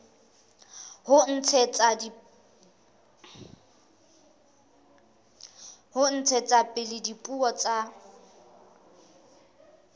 ho ntshetsa pele dipuo tsa